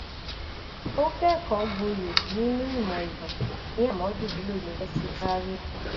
ó kẹkọọgboyè nínú ìmọ ìtàn ní amadu bello university zaria